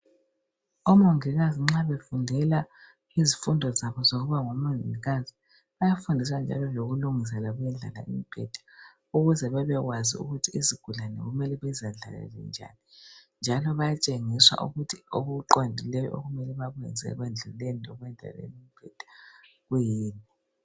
Omongikazi nxa befundela izifundo zabo ezokuba ngomongikazi bayafundela lokulungisa ukuyendlala imbheda ukuze babekwazi ukuthi isigulane kumele bezendlalele njani njalo bayatshengiswa ukuthi okuqondileyo okumele bakwenze ekuyendluleni lekwendlaleni imbheda kuyini.